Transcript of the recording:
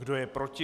Kdo je proti?